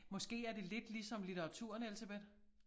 Måske er det lidt ligesom litteraturen Elsebeth